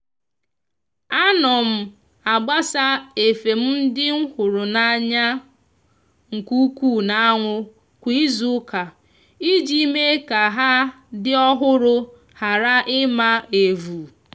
a no m agbasa efe m ndi nhuru n' anya nke uku n'anwu kwa izuuka iji me ka me ka ha di ohuru hara ima evu.